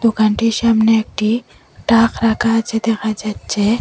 দোকানটির সামনে একটি তাক রাখা আসে দেখা যাচ্ছে।